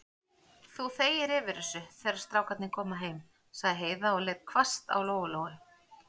Þú þegir yfir þessu, þegar strákarnir koma heim, sagði Heiða og leit hvasst á Lóu-Lóu.